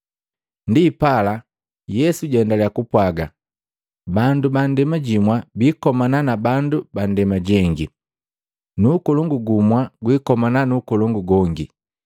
Ndipala, Yesu jaendalya kupwaga, “Bandu ba ndema jimwa biikomana na bandu bu ndema jengi, nu ukolongu gumu gwikomana nu ukolongu gongi.